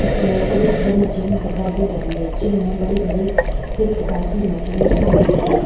येहे कोई बड़ी जिम दिखाई दे रही है। जिम में बड़ी-बड़ी कही प्रकार की मशीने रखी हुई हैं।